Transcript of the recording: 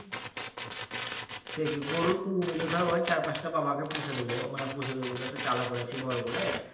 সেইটি গরুর খুলবো বলতে ধর ওই চার পাঁচটা বাবাকে পুষে দিব মানে পুষে দিব বলতে একটা চালা করেছি বড়ো করে